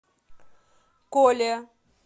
коле